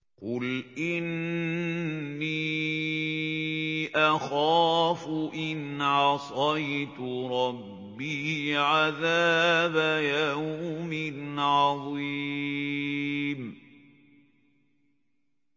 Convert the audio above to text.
قُلْ إِنِّي أَخَافُ إِنْ عَصَيْتُ رَبِّي عَذَابَ يَوْمٍ عَظِيمٍ